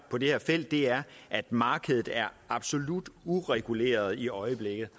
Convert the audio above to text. på det her felt er at markedet er absolut ureguleret i øjeblikket